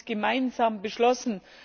Wir haben das gemeinsam beschlossen.